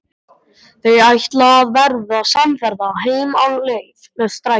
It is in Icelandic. Þau ætla að verða samferða heim á leið með strætó.